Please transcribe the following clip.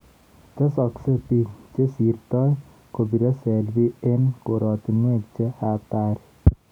Tesasksei biik chesirtoi kobire selfi eng koratinwek che hatari